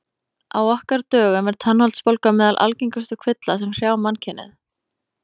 Á okkar dögum er tannholdsbólga meðal algengustu kvilla sem hrjá mannkynið.